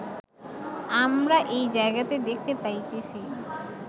আমরা এই জায়গাতেই দেখিতে পাইতেছি